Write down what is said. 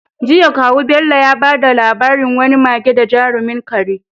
Jiya, kawu Bello ya bada labarin wani mage da jarumin kare.